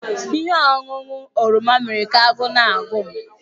Ihe ọṅụṅụ oroma mere ka agụụ na-agụ m